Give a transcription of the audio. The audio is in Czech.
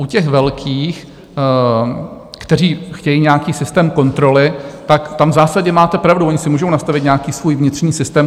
U těch velkých, kteří chtějí nějaký systém kontroly, tak tam v zásadě máte pravdu, oni si můžou nastavit nějaký svůj vnitřní systém.